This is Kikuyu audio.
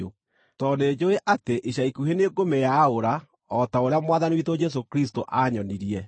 tondũ nĩnjũũĩ atĩ ica ikuhĩ nĩngũmĩĩaũra, o ta ũrĩa Mwathani witũ Jesũ Kristũ aanyonirie.